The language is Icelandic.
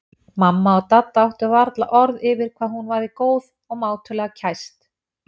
Mamma og Dadda áttu varla orð yfir hvað hún væri góð og mátulega kæst.